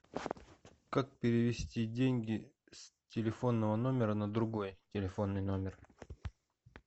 как перевести деньги с телефонного номера на другой телефонный номер